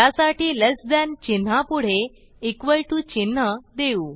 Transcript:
त्यासाठी less than चिन्हापुढे equal to चिन्ह देऊ